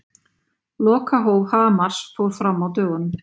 Lokahóf Hamars fór fram á dögunum.